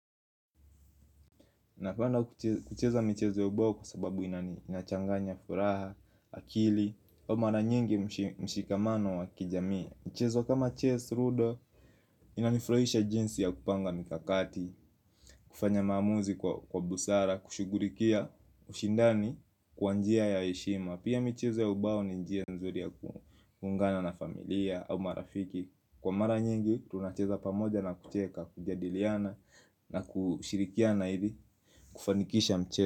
Napenda kucheza michezo ya ubao kwa sababu inachanganya furaha, akili au mara nyingi mshikamano wa kijamii. Michezo kama Chase Rudo inanifraisha jinsi ya kupanga mikakati. Kufanya maamuzi kwa busara, kushughurikia ushindani kwa njia ya heshima. Pia michezo ya ubao ni njia nzuri ya kuungana na familia au marafiki. Kwa mara nyingi, tunacheza pamoja na kucheka, kujadiliana na kushirikiana ili kufanikisha mche.